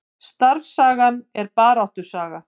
Starfssagan er baráttusaga